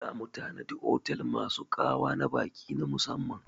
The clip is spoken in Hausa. Za mu tanadi otel masu ƙa'wa na baƙi na musamman.